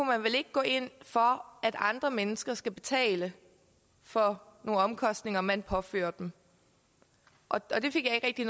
man vel ikke gå ind for at andre mennesker skal betale for nogle omkostninger man påfører dem og det fik jeg ikke